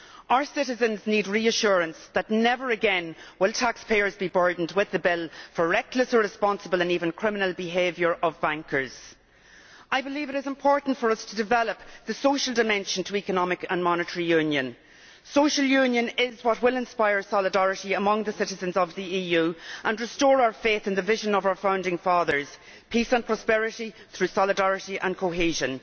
Our citizens need reassurance that never again will taxpayers be burdened with the bill for the reckless, irresponsible and even criminal behaviour of bankers. I believe it is important for us to develop the social dimension to Economic and Monetary Union. Social union is what will inspire solidarity among the citizens of the EU and restore our faith in the vision of our founding fathers peace and prosperity through solidarity and cohesion.